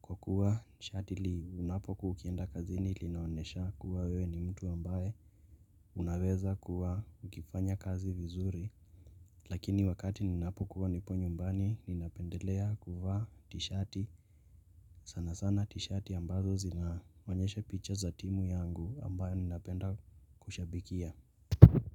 Kwa kuwa shati linapokuwa ukienda kazini linaonesha kuwa wewe ni mtu ambaye Unaweza kuwa ukifanya kazi vizuri Lakini wakati ninapokuwa nipo nyumbani ninapendelea kuvaa tishati sana sana tishati ambazo zinaonyesha picture za timu yangu ambayo ninapenda kushabikia.